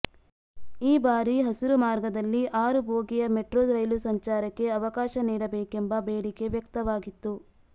ಈ ಬಾರಿ ಹಸಿರು ಮಾರ್ಗದಲ್ಲಿ ಆರು ಬೋಗಿಯ ಮೆಟ್ರೋ ರೈಲು ಸಂಚಾರಕ್ಕೆ ಅವಕಾಶ ನೀಡಬೇಕೆಂಬ ಬೇಡಿಕೆ ವ್ಯಕ್ತವಾಗಿತ್ತು